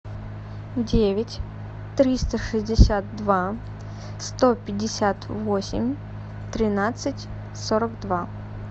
девять триста шестьдесят два сто пятьдесят восемь тринадцать сорок два